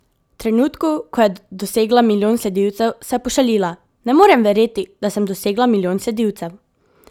V trenutku, ko je dosegla milijon sledilcev, se je pošalila: "Ne morem verjeti, da sem dosegla milijon sledilcev.